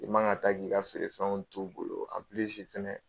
I man kan ka taa k'i ka feere fɛnw t'u bolo fɛnɛ